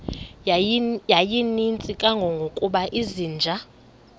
yayininzi kangangokuba izinja